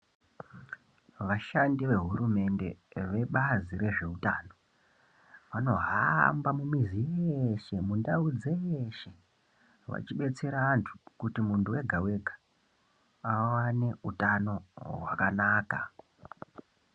Vashandi ve hurumende ve bazi re zveutano vanohamba mu mizi dzeshe mu ndau dzeshe vachi batsira antu kuti muntu wega wega awane utano hwakanaka.